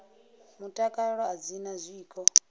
mutakalo a dzi na zwiko